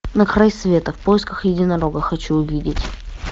на край света в поисках единорога хочу увидеть